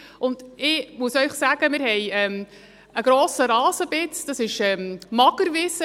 Ich muss Ihnen sagen, wir haben eine grosse Rasenfläche, das ist Magerwiese.